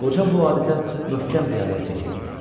Qoca bu adətə möhkəm riayət eləyirdi.